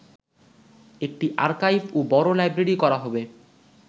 একটি আর্কাইভ ও বড় লাইব্রেরী করা হবে